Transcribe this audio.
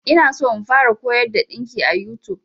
Ina so in fara koyar da ɗinki a YouTube.